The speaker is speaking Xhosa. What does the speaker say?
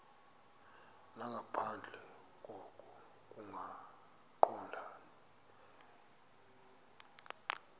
nangaphandle koko kungaqondani